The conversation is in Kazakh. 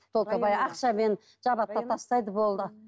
только баяғы ақшамен жабады да тастайды болды